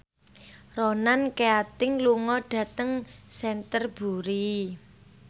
Ronan Keating lunga dhateng Canterbury